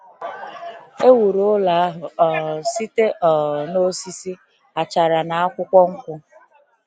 E wuru ụlọ ahụ um site um n’osisi, achara, na akwụkwọ nkwụ.